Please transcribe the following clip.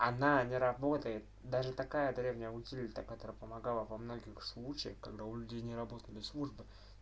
она не работает даже такая древняя утилита которая помогала во многих случаях когда у людей не работали службы